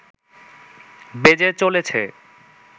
বেজে চলেছে